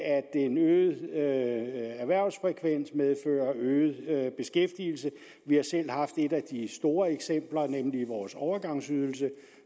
en øget erhvervsfrekvens medfører øget beskæftigelse vi har selv haft et af de store eksempler nemlig vores overgangsydelse